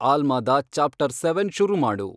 ಆಲ್ಮಾದ chapter seven ಶುರು ಮಾಡು